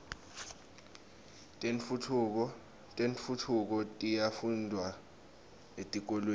tentfutfuko tiyafundvwa etikolweni